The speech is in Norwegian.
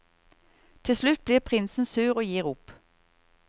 Til slutt blir prinsen sur og gir opp.